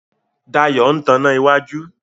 Dayo ń tán iná wájú.